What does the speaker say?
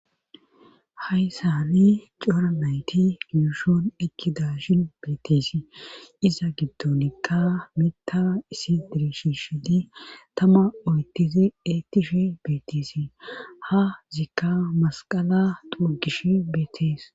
Haysanii cora nayti gidishon ekkidashin beetisi iza giddonikka mita isi dirishi shidi tama oytizi eettishi beetisi ha zikka masqala durgish beetees.